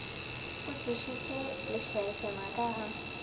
o tsošitše lešaetšana ka ga